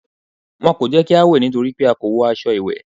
Wọn kò jẹ́ kí á wẹ̀ nítorí pé a kò wọ aṣọ ìwẹ̀.